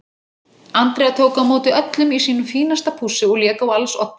Andrea tók á móti öllum í sínu fínasta pússi og lék á als oddi.